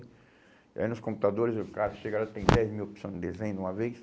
E aí nos computadores, o cara chega lá e dez mil opções de desenho de uma vez.